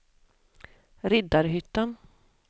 Riddarhyttan